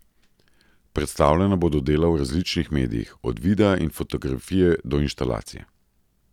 Predstavljena bodo dela v različnih medijih, od videa in fotografije do instalacije.